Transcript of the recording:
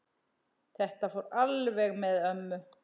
Þetta fór alveg með ömmu.